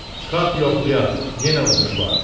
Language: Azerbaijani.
Çıxart yoxlayaq, yenə uduş var.